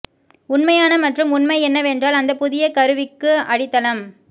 உண்மையான மற்றும் உண்மை என்னவென்றால் அந்த புதிய கருவிக்கு அடித்தளம்